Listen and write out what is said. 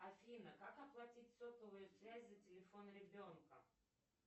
афина как оплатить сотовую связь за телефон ребенка